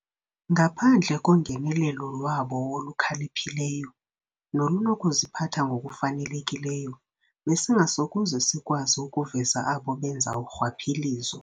Ngaphandle kongenelelo lwabo olukhaliphileyo nolunokuziphatha ngokufanelekileyo, besingasokuze sikwazi ukuveza abo benza urhwaphilizo.